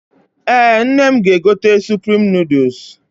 Ee, nne m ga-egote suprim nọọdụs.